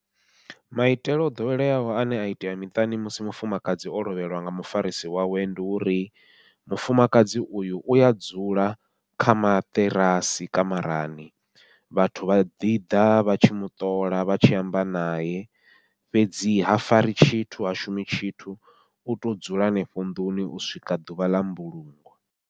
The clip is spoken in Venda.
Maitele o ḓoweleaho ane a itea miṱani musi mufumakadzi o lovheliwa nga mufarisi wawe, ndi uri mufumakadzi uyu uya dzula kha maṱirasi kamarani, vhathu vha ḓiḓa vha tshi muṱola vha tshi amba naye, fhedzi ha fari tshithu ha shumi tshithu uto dzula henefho nnḓuni u swika ḓuvha ḽa mbulungo.